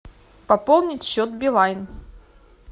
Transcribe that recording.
пополнить счет билайн